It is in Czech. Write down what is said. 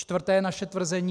Čtvrté naše tvrzení.